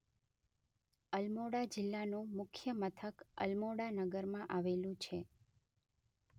અલમોડા જિલ્લાનું મુખ્ય મથક અલમોડાનગરમાં આવેલું છે.